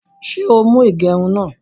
Ṣé o mú igerún náà?